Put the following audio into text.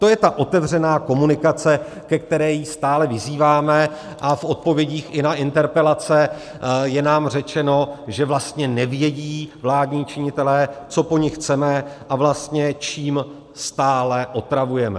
To je ta otevřená komunikace, ke které ji stále vyzýváme, a v odpovědích i na interpelace je nám řečeno, že vlastně nevědí vládní činitelé, co po nich chceme, a vlastně čím stále otravujeme.